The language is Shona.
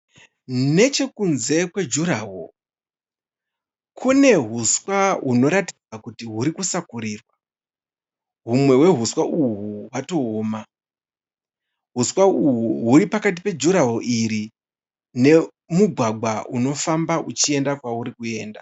Nechekunze kwejuraho kunehuswa hunoratidza kuti hunosakurirwa. Humwe hwehuswa uhwu hwatooma. Huswa uhwu hwuripakati pejuraho iri nemugwagwa unofamba uchienda kwauri kuenda.